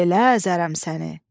Belə əzərəm səni!